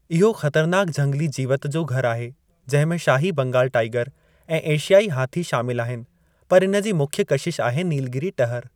इहो ख़तरनाकु झंगली जीवति जो घरु आहे, जंहिं में शाही बंगालु टाईगर ऐं एशियाई हाथी शामिलु आहिनि, पर इन जी मुख्य कशिश आहे नीलगीरी टहर।